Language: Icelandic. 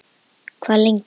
Hve lengi?